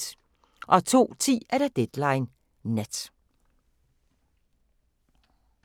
02:10: Deadline Nat